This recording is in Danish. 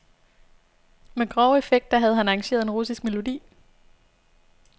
Med grove effekter havde han arrangeret en russisk melodi.